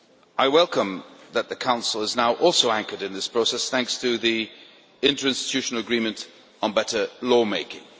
I welcome the fact that the Council too is now anchored in this process thanks to the interinstitutional agreement on better lawmaking.